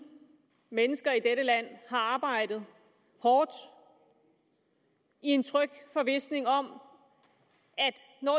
mennesker i dette land har arbejdet hårdt i en tryg forvisning om